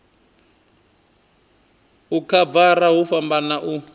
u khavara hu fhambana u